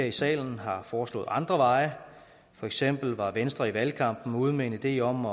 i salen foreslået andre veje for eksempel var venstre i valgkampen ude med en idé om